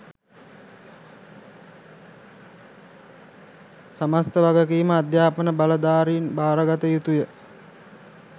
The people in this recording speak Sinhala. සමස්ත වගකීම අධ්‍යාපන බලධාරීන් බාරගත යුතුය